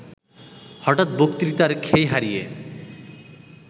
হঠাৎ বক্তৃতার খেই হারিয়ে